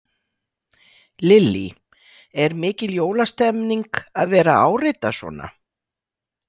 Lillý: Er mikil jólastemmning að vera að árita svona?